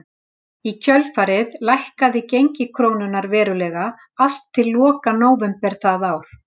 Í kjölfarið lækkaði gengi krónunnar verulega allt til loka nóvember það ár.